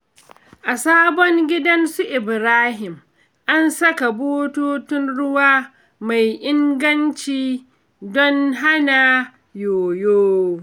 A sabon gidan su Ibrahim, an saka bututun ruwa mai inganci don hana yoyo.